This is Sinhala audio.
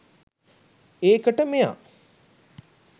ඒකට මෙයා